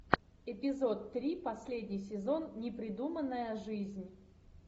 эпизод три последний сезон непридуманная жизнь